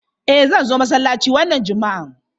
Eh zan zo masallaci wannan juma'a.